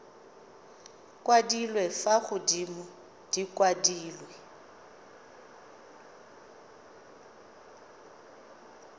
kwadilwe fa godimo di kwadilwe